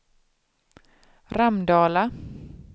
Ramdala